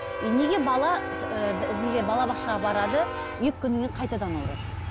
е неге бала неге балабақшаға барады екі күннен кейін қайтадан ауырады